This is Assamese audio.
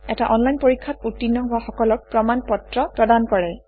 এটা অনলাইন পৰীক্ষাত উত্তীৰ্ণ হোৱা সকলক প্ৰমাণ পত্ৰ প্ৰদান কৰে